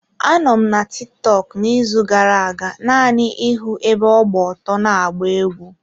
Anọ m na Tiktọk n'izu gara-aga naanị ịhụ ebe ọ gba ọtọ na-agba egwú.